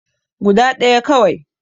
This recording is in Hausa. Guda ɗaya kawai